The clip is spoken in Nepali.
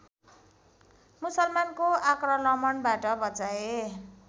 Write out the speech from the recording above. मुसलमानको आक्रलमणबाट बचाएर